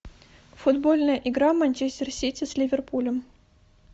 футбольная игра манчестер сити с ливерпулем